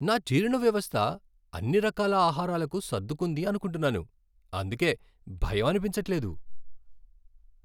నా జీర్ణ వ్యవస్థ అన్ని రకాల ఆహారాలకు సర్దుకుంది అనుకుంటున్నాను, అందుకే భయం అనిపించట్లేదు.